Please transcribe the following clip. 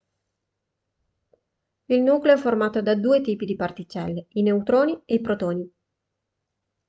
il nucleo è formato da due tipi di particelle i neutroni e i protoni